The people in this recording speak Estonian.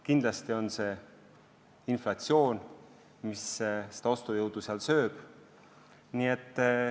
Kindlasti on ka inflatsioon see, mis ostujõudu sööb.